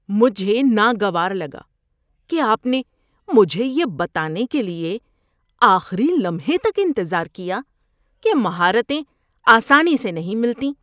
مجھے ناگوار لگا کہ آپ نے مجھے یہ بتانے کے لیے آخری لمحے تک انتظار کیا کہ مہارتیں آسانی سے نہیں ملتیں۔